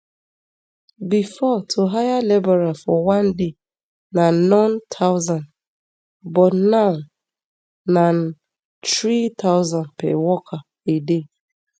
bifor to hire labourer for one day na none thousand but now na three thousand per worker a day